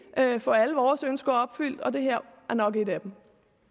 kan få alle vores ønsker opfyldt og det her er nok et af dem